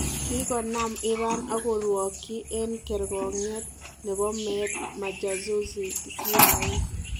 Kikonaam Iran ak korwokyi eng kerkong'iet ne bo meet majasusi CIA.